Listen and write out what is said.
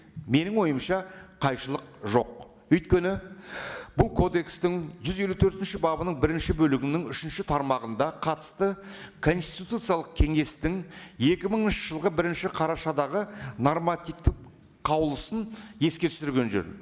менің ойымша қайшылық жоқ өйткені бұл кодекстің жүз елу төртінші бабының бірінші бөлігінің үшінші тармағында қатысты конституциялық кеңестің екі мыңыншы жылғы бірінші қарашадағы нормативтік қаулысын еске түсірген жөн